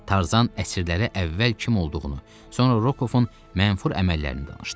Tarzan əsirlərə əvvəl kim olduğunu, sonra Rokovun mənfur əməllərini danışdı.